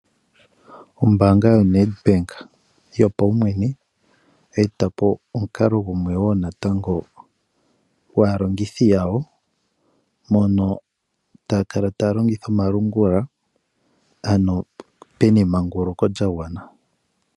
Ombaanga yoNedbank yopaumwene ohayi etapo omukalo gumwe woo natango gwaalongithi yawo mono taya kala taa longitha omalungula pu na emanguluko lyagwana.